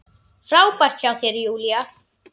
Frábært hjá þér, Júlía!